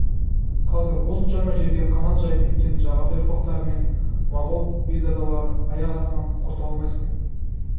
қазір осыншама жерге қанат жайып кеткен жағатай ұрпақтары мен моғол бекзадаларын аяқ астынан құрта алмайсың